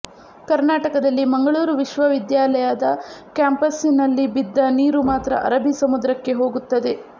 ಕರ್ನಾಟಕದಲ್ಲಿ ಮಂಗಳೂರು ವಿಶ್ವವಿದ್ಯಾಲಯದ ಕ್ಯಾಂಪಸ್ಸಿನಲ್ಲಿ ಬಿದ್ದ ನೀರು ಮಾತ್ರ ಅರಬ್ಬಿ ಸಮುದ್ರಕ್ಕೆ ಹೋಗುತ್ತದೆ